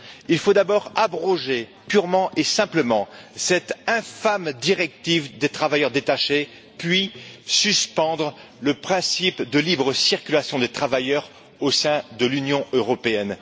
Il faut d'abord abroger purement et simplement cette infâme directive sur les travailleurs détachés, puis suspendre le principe de libre circulation des travailleurs au sein de l'Union européenne.